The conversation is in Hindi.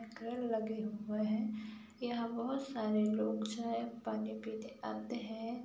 लगे हुए है। यहाँ बहोत सारे लोग चाय पानी पीने आते है।